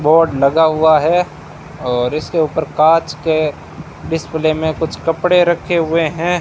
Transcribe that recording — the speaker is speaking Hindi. बोर्ड लगा हुआ है और इसके ऊपर कांच के डिस्प्ले में कुछ कपड़े रखे हुए हैं।